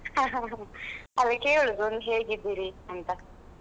ಹಾ ಹಾ ಹಾ ಅದು ಕೇಳುವುದು ಒಂದು ಹೇಗಿದ್ದೀರಿ ಅಂತ.